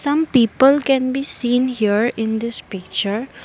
some people can be seen here in this picture.